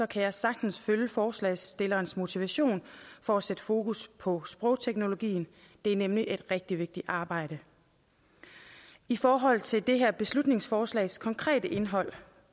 kan jeg sagtens følge forslagsstillernes motivation for at sætte fokus på sprogteknologien det er nemlig et rigtig vigtigt arbejde i forhold til det her beslutningsforslags konkrete indhold